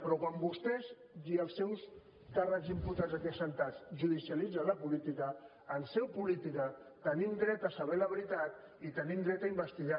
però quan vostès i els seus càrrecs imputats aquí asseguts judicialitzen la política en seu política tenim dret a saber la veritat i tenim dret a investigar